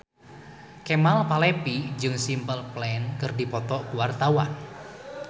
Kemal Palevi jeung Simple Plan keur dipoto ku wartawan